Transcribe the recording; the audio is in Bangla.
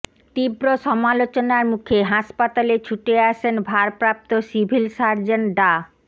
তীব্র সমালোচনার মুখে হাসপাতালে ছুটে আসেন ভারপ্রাপ্ত সিভিল সার্জন ডা